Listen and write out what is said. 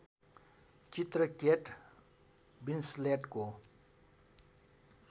चित्र केट विन्सलेटको